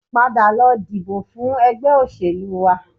Padà lọ dìbò fún ẹgbẹ́ òṣèlú wa